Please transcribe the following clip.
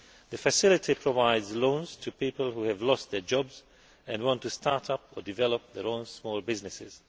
The Facility provides loans to people who have lost their jobs and want to start up or develop their own small businesses.